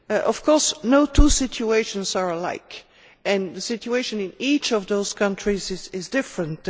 Of course, no two situations are alike and the situation in each of those countries is different.